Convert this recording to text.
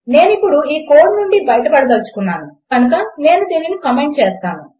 నేనిప్పుడు ఈ కోడ్ నుండి బయటపడదలచుకున్నాను కనుక నేను దీనిని కామెంట్ చేస్తాను